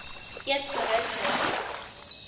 eet gerus nagereg